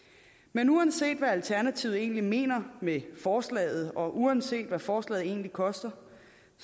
men uanset hvad alternativet egentlig mener med forslaget og uanset hvad forslaget egentlig koster